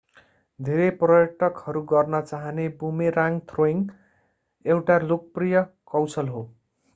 धेरै पर्यटकहरू गर्न चाहने बुमेराङ्ग थ्रोइङ्ग एउटा लोकप्रिय कौशल हो